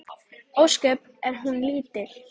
Ósköp er hún lítil.